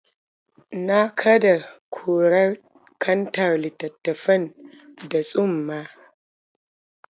Na kaɗe kurar kantar littattafan da tsumma.